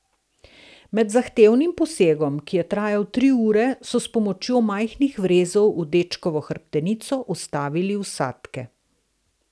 Med zahtevnim posegom, ki je trajal tri ure, so s pomočjo majhnih vrezov v dečkovo hrbtenico vstavili vsadke.